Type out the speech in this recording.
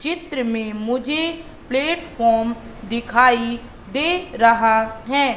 चित्र मे मुझे प्लेटफॉर्म दिखाई दे रहा है।